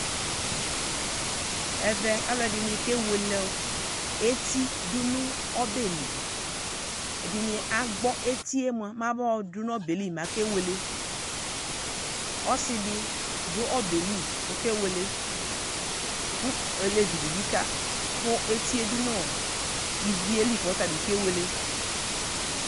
Ɛvɛ alʋɛdɩnɩ kewele ɔ eti dʋ nʋ ɔbɛli , ɛdɩnɩ agbɔ etie mʋa, mabaɔdʋ n'ɔbɛɛ li make wele Ɔsɩdɩ dʋ ɔbɛɛ li k'ɔkewele, kʋ olevi dɩ bɩ ka kʋ etie dʋ nʋ ivie li k'ɔtabɩ kewele